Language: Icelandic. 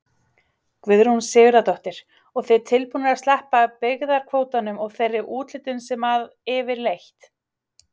Guðrún Sigurðardóttir: Og þið tilbúnir að sleppa byggðakvótanum og þeirri úthlutun sem að yfirleitt?